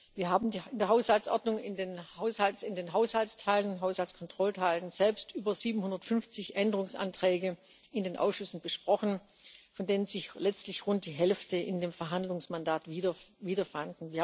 Wir haben in der Haushaltsordnung, in den Haushaltsteilen und Haushaltskontrollteilen selbst über 750 Änderungsanträge in den Ausschüssen besprochen, von denen sich letztlich rund die Hälfte in dem Verhandlungsmandat wieder fand.